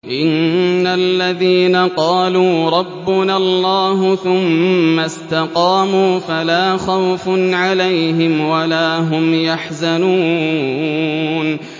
إِنَّ الَّذِينَ قَالُوا رَبُّنَا اللَّهُ ثُمَّ اسْتَقَامُوا فَلَا خَوْفٌ عَلَيْهِمْ وَلَا هُمْ يَحْزَنُونَ